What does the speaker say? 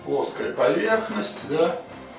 плоская поверхность да